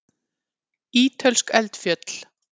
Ítölsk eldfjöll.